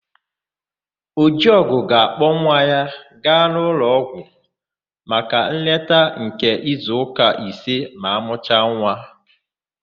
Ọjịugo ga-akpọ nwa ya gaa ụlọọgwụ maka nleta nke izuụka isii ma amụcha nwa.